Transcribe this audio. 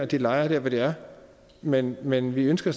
de lejre der hvor de er men men vi ønsker